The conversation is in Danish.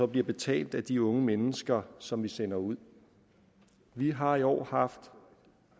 bliver betalt af de unge mennesker som vi sender ud vi har i år haft